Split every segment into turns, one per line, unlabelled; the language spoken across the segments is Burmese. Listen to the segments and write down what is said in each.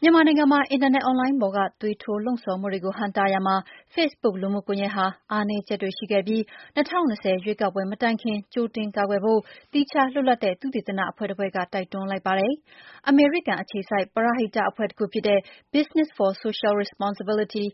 မြန်မာနိုင်ငံမှာ အင်တာနက် အွန်လိုင်းပေါ်က သွေးထိုးလှုံ့ဆော်မှုတွေကို ဟန့်တားရာမှာ Facebook လူမှုကွန်ရက်ဟာ အားနည်းချက်တွေ ရှိခဲ့ပြီး၊ ၂၀၂၀ ရွေးကောက်ပွဲ မတိုင်ခင် ကြိုတင်ကာကွယ်ဖို့ သီးခြားလွတ်လပ်တဲ့ သုတေသန အဖွဲ့တဖွဲ့က တိုက်တွန်းလိုက်ပါတယ်။ အမေရိကန် အခြေစိုက် ပရဟိတ အဖွဲ့တခုဖြစ်တဲ့ Business for Social Responsibility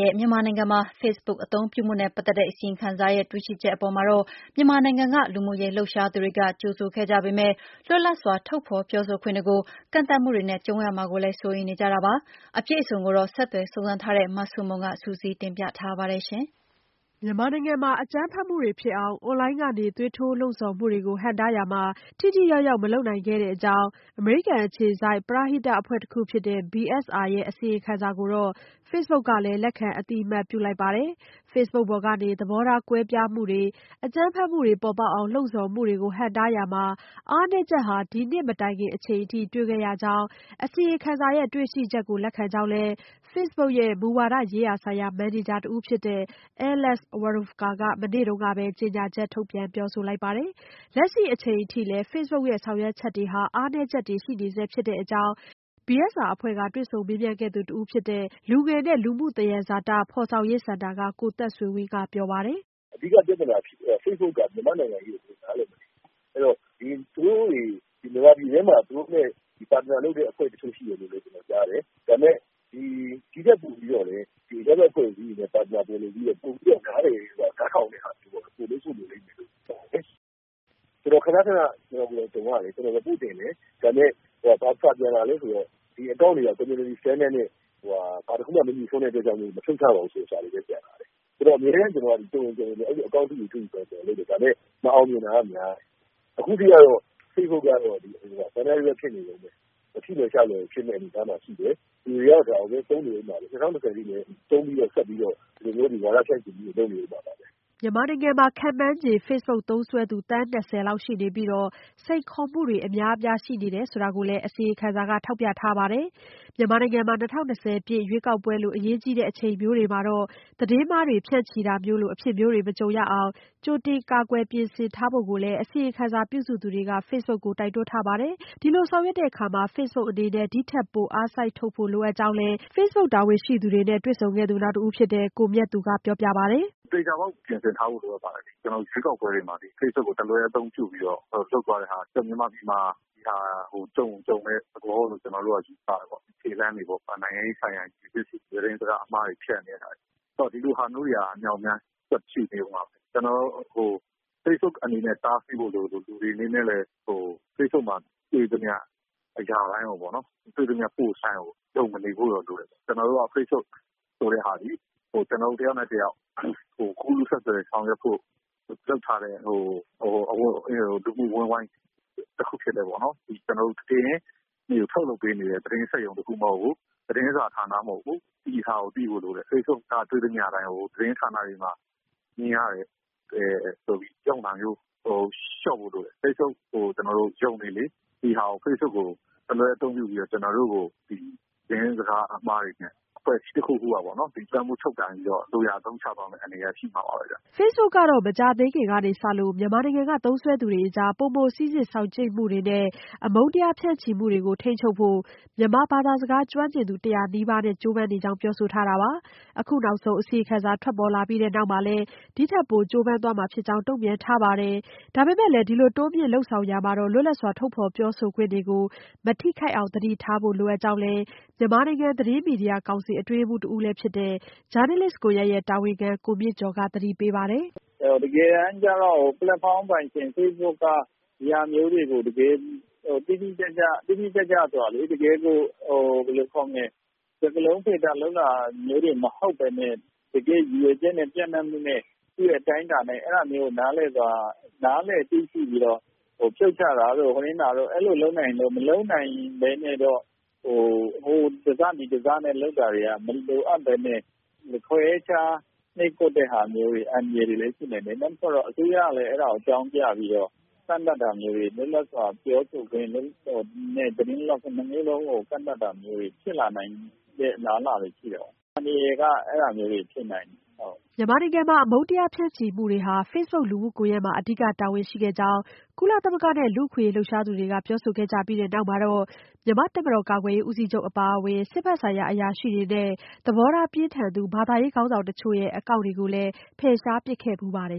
ရဲ့ မြန်မာနိုင်ငံမှာ Facebook အသုံးပြုမှုနဲ့ ပတ်သက်တဲ့ အစီရင်ခံစာရဲ့ တွေ့ရှိချက်အပေါ်မှာတော့ မြန်မာနိုင်ငံက လူမှုရေး လှုပ်ရှားသူတွေက ကြိုဆိုခဲ့ကြပေမဲ့ လွတ်လပ်စွာ ထုတ်ဖော်ပြောဆိုခွင့်တွေကို ကန့်သတ်မှုတွေနဲ့ ကြုံရမှာကိုလည်း စိုးရိမ်နေကြတာပါ။ အပြည့်အစုံကိုတော့ ဆက်သွယ်စုံစမ်းထားတဲ့ မဆုမွန်က စုစည်းတင်ပြထားပါတယ်။ မြန်မာနိုင်ငံမှာ အကြမ်းဖက်မှုတွေဖြစ်အောင် အွန်လိုင်းကနေ သွေးထိုးလှုံ့ဆော်မှုတွေကို ဟန့်တားရာမှာ ထိထိရောက်ရောက် မလုပ်နိုင်ခဲ့တဲ့အကြောင်း အမေရိကန် အခြေစိုက် ပရဟိတ အဖွဲ့တခုဖြစ်တဲ့ BSR ရဲ့ အစီရင်ခံစာကိုတော့ Facebook ကလည်း လက်ခံအသိအမှတ်ပြုလိုက်ပါတယ်။ Facebook ပေါ်ကနေ သဘောထား ကွဲပြားမှုတွေ၊ အကြမ်းဖက်မှုတွေ ပေါ်ပေါက်အောင် လှုံ့ဆော်မှုတွေကို ဟန့်တားရာမှာ အားနည်းချက်ဟာ ဒီနှစ်မတိုင်ခင် အချိန်အထိ တွေခဲ့ရကြောင်းနဲ့ အစီရင်ခံစာရဲ့ တွေ့ရှိချက်ကို လက်ခံကြောင်းနဲ့ ဒီ့ထက်ပိုလုပ်နိုင်တာ၊ ပိုလုပ်သင့်တာတွေလည်းရှိခဲ့ကြောင်း Facebook ရဲ့ မူဝါဒရေးရာဆိုင်ရာ မန်နေဂျာ တဦးဖြစ်တဲ့ Alex Warofka က မနေ့တုန်းကပဲ ကြေညာချက်ထုတ်ပြန် ပြောဆိုထားပါတယ်။ လက်ရှိအချိန်အထိလည်း Facebook ရဲ့ ဆောင်ရွက်ချက်တွေဟာ အားနည်းချက်တွေ ရှိနေဆဲ ဖြစ်တဲ့အကြောင်းBSR အဖွဲ့က တွေ့ဆုံမေးမြန်းခဲ့သူ တဦးဖြစ်တဲ့ လူငယ်နဲ့ လူမှုသဟဇာတ ဖော်ဆောင်ရေးစင်တာက ကိုသက်ဆွေဝင်း ကပြောပါတယ်။
"အဓိက ပြဿနာက Facebook က မြန်မာ့နိုင်ငံရေးကို နားလည်မနေဘူး။ အဲဒီတော့ မြန်မာနိုင်ငံအတွင်းမှာ သူတို့နဲ့ Partner လုပ်တဲ့ တချို့အဖွဲ့ရှိမယ်လို့ ကျနော်ကြားတယ်။ ဒီထက်ပိုပြီးတော့ အရပ်ဖက်အဖွဲ့အစည်းတွေနဲ့ Partner တွဲလုပ်ပြီးတော့ ပိုပြီးတော့ နားလည်တဲ့ နားထောင်တဲ့သူတွေနဲ့ တွဲလုပ်ဖို့လိုမယ်လို့ ကျနော်ထင်တယ်။ ကျနော် ခဏခဏကြုံရတယ် ကျနော် Report တင်တယ် ဒါပေမယ့် ဘာပြန်လာသလဲဆိုတော့ ဒီအကောင့်တွေက Community Standard နဲ့ တခုမှ မငြှိစွန်းတဲ့အတွက်ကြောင့် မဖြုတ်ဘူးဆိုတဲ့စာတွေပြန်လာတယ်။ ဆိုတော့အမြဲတမ်း ကျနော်အကောင့်အတုတွေတွေ့ရင်အလိုလုပ်တယ် ဒါပေမယ့် မအောင်မြင်တာများတယ် အခုအထိ Facebook ကတော့ ထိလွယ်ရှလွယ်ဖြစ်မယ့်အနေအထားမှာရှိတယ်။ လူတွေကတော့ ဒါကိုသုံးနေမှာပဲ ၂၀၂၀ အထိလည်းဝါဒဖြန့်ချီမှုတွေရှိနေဦးမှာပဲ။"
မြန်မာနိုင်ငံမှာ ခန့်မှန်းချေ Facebook သုံးစွဲသူ သန်း ၂၀ လောက် ရှိနေပြီး၊ စိန်ခေါ်မှုတွေ အများအပြားရှိနေတာကိုလည်း အစီရင်ခံစာမှာ ထောက်ပြထားပါတယ်။ မြန်မာနိုင်ငံမှာ ၂၀၂၀ ပြည့် ရွေးကောက်ပွဲလို အရေးကြီးတဲ့ အချိန်မျိုးမှာ သတင်းမှားတွေ ဖြန့်ချီတာမျိုးလို အဖြစ်မျိုးတွေ မကြုံရအောင် ကြိုတင်ကာကွယ် ပြင်ဆင်ထားဖို့လည်း အစီရင်ခံစာ ပြုစုသူတွေက Facebook ကိုတိုက်တွန်းထားပါတယ်။ ဒီလိုဆောင်ရွက်ရာမှာ Facebook အနေနဲ့ ဒီထက်ပို အားစိုက်ထုတ်ဖို့ လိုအပ်ကြောင်းလည်း FB တာဝန်ခံတွေကို အကြံပြုခဲ့သူ နောက်တဦးဖြစ်တဲ့ ကိုမြတ်သူကပြောပါတယ်။
"သေချာပေါက်ပြင်ဆင်ထားဖို့လိုပါတယ်။ ရွေးကောက်ပွဲတွေမှာ Facebook ကိုအသုံးပြုပြီးတော့ လုပ်သွားတာ မြန်မာပြည်မှာ ကြုံတဲ့သဘောလို့ ကျနော်တို့ကတော့ ယူဆတယ်။ သတင်းစကားအမှားတွေဖြန့်နေတာ ဒါမျိုးတွေက အမြောက်အများဆက်ရှိနေမှာပဲ။ Facebook အနေနဲ့ တားဆီးဖို့လိုသလို လူတွေအနေနဲ့လည်း Facebook မှာတွေ့သမျှအရာတိုင်းကိုပေါ့နော် ယုံမဖို့လိုတယ်။ Facebook ဆိုတာသည် တယောက်နဲ့ တယောက် ကူးလူးဆက်သွယ်ဆောင်ရွက်ဖို့ အဝန်းအဝိုင်း တခုဖြစ်တယ်။ သတင်းတွေကို ထုတ်လုပ်ပေးနေတဲ့ သတင်းစက်ရုံတခုမဟုတ်ဘူး သတင်းစာဌာနမဟုတ်ဘူးဆိုတာသိဖို့လိုတယ်။ Facebook မှာတွေ့သမျှကို သတင်းဌာနတွေမှာမြင်ရတယ်ဆိုတာမျိုး ဆိုတာကို လျော့ဖို့လိုတယ်။ Facebook ကိုယုံလေလေ၊ ဒါကို တလွဲအသုံးပြုပြီးတော့ ကျနော်တို့ကို သတင်းစကားအမှားတွေနဲ့ အဖွဲ့အစည်းတခုခုကို လွမ်းမိုးချုပ်ကိုင်အသုံးချသွားမယ့် အန္တရာယ်ရှိလာနိုင်ပါတယ်
။" Facebook ကတော့ မကြာသေးခင်ကစလို့ မြန်မာနိုင်ငံက သုံးစွဲသူတွေကြား ပိုမိုစိစစ်စောင့်ကြည့်မှုတွေနဲ့ အမုန်းတရား ဖြန့်ချီမှုတွေကို ထိန်းချုပ်ဖို့ မြန်မာဘာသာစကား ကျွမ်းကျင်သူ ၁၀၀ နီးပါးနဲ့ ကြိုးပမ်းနေ့ကြောင်း ပြောဆိုထားတာပါ။ အခုနောက်ဆုံး အစီရင်ခံစာ ထွက်ပေါ်လာပြီး နောက်မှာလည်း ဒီထက်ပို ကြိုးပမ်းသွားမှာဖြစ်ကြောင်း တုံ့ပြန်ထားပါတယ်။ ဒါပေမဲ့လည်း ဒီလိုတိုးမြှင့်လုပ်ဆောင်လာရာမှာ လွတ်လပ်စွာ ထုတ်ဖော်ပြောဆိုခွင့်တွေကို မထိခိုက်အောင် သတိထားဖို့ လိုအပ်ကြောင်းလည်း မြန်မာနိုင်ငံ သတင်းမီဒီယာကောင်စီ အတွင်းရေးမှူး တဦးလည်းဖြစ် ဂျာနယ်လစ်ကွန်ရက်ရဲ့ တာဝန်ခံလည်းဖြစ်တဲ့ ဦးမြင့်ကျော်က သတိပေးပါတယ်
။ "တကယ်တမ်းကျတော့ ပလက်ဖောင်းပိုင်ရှင် Facebook က ဒါမျိုးတွေကို တကယ်တိတိကျကျ စကားလုံးပိတ်တာပဲ မဟုတ်ပဲနဲ့ တကယ်ရည်ရွယ်ချက်နဲ့ သူ့အတိုင်းအတာနဲ့ အဲဒါမျိုးကိုနားလည်သိရှိပြီးတော့ ဖြုတ်ချတာ။ အလိုလုပ်နိုင်ရင်လုပ်၊ မလုပ်နိုင်ရင်လည်း အခုလို ဟိုတစ ဒီတစနဲ့ လုပ်တာက မလိုအပ်ပဲနဲ့ ခွဲခြားနှိပ်ကွပ်တာတဲ့အန္တရာယ်တွေလည်းရှိနိုင်တယ် နောက်တခုကတော့ အစိုးရလည်း အဲဒါကို အကြောင်းပြပြီးတော့ လွတ်လပ်စွာပြောဆိုခွင့်နဲ့ သတင်းလွတ်လပ်ခွင့် ၂ မျိုးလုံးကို ကန်သတ်တဲ့အနေအထားဖြစ်လာနိုင်တဲ့ အလားလာတွေရှိတယ်ပေါ့နော်။ အန္တရာယ်တွေက အဲဒါမျိုးဖြစ်နိုင်တယ်။
" မြန်မာနိုင်ငံမှာ အမုန်းတရား ဖြန့်ချီမှုတွေမှာ Facebook လူမှုကွန်ရက်က အဓိက တာဝန်ရှိခဲ့ကြောင်း ကုလသမဂ္ဂနဲ့ လူ့အခွင့်အရေး လှုပ်ရှားသူတွေက ပြောဆိုခဲ့ကြပြီး နောက်မှာပဲ မြန်မာ့တပ်မတော် ကာကွယ်ရေးဦးစီးချုပ်အပါအဝင် စစ်ဖက်ဆိုင်ရာ အရာရှိတွေ၊ သဘောထားပြင်းထန်သူ ဘာသာရေးခေါင်းဆောင်တချို့ရဲ့ အကောင့်တွေကိုလည်း ဖယ်ရှားပစ်ခဲ့ဖူးပါတယ်